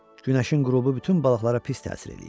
Günəşin qürubu bütün balıqlara pis təsir eləyir.